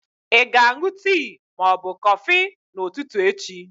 Ị ga-aṅụ tii ma ọ bụ kọfị n'ụtụtụ echi?